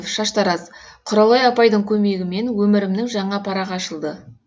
шаштараз құралай апайдың көмегімен өмірімнің жаңа парағы ашылды